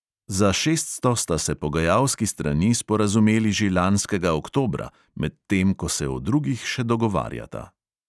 Za šeststo sta se pogajalski strani sporazumeli že lanskega oktobra, medtem ko se o drugih še dogovarjata.